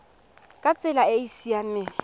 ka tsela e e seng